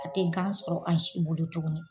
A tɛ gan sɔrɔ an si bolo tuguni.